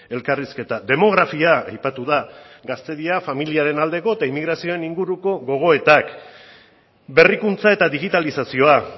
elkarrizketa demografia aipatu da gaztedia familiaren aldeko eta inmigrazioen inguruko gogoetak berrikuntza eta digitalizazioak